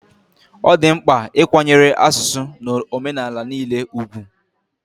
Ọ dị mkpa ịkwanyere asụsụ na omenala niile ùgwù